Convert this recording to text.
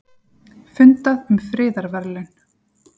Fundað um friðarverðlaun